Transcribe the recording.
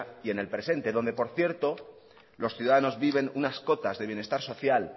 y en el presente donde por cierto los ciudadanos viven unas cotas de bienestar social